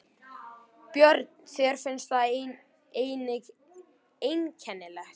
Björn: Þér finnst það einnig einkennilegt?